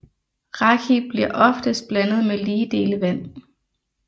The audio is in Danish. Raki bliver oftest blandet med lige dele vand